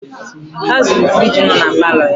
Ha zuru firiji nọ na paalọ ya.